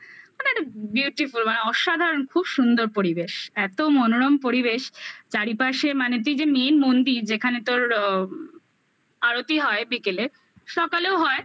মানে একটা beautiful মানে অসাধারণ খুব সুন্দর পরিবেশ এত মনোরম পরিবেশ চারিপাশে মানেটি যে main মন্দির যেখানে তোর আরতি হয় বিকেলে সকালেও হয়